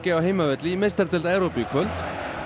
á heimavelli í meistaradeild Evrópu í kvöld